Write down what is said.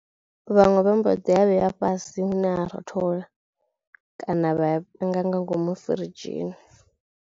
Vhaṅwe vha mboḓi a vhea fhasi hune ha rothola kana vha panga nga ngomu firidzhi.